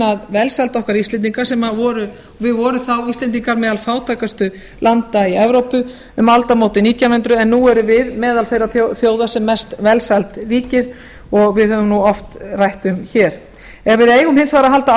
að velsæld okkar íslendinga við vorum þá íslendingar meðal fátækustu landa í evrópu um aldamótin nítján hundruð en nú erum við meðal þeirra þjóða sem mest velsæld ríki og við höfum oft rætt um hér ef við eigum hins vegar að halda